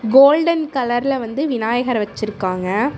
Golden கலர்ல வந்து விநாயகர் வச்சிருக்காங்க.